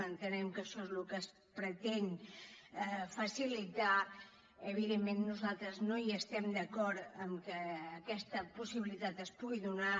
entenem que això és el que es pretén facilitar evidentment nosaltres no hi estem d’acord que aquesta possibilitat es pugui donar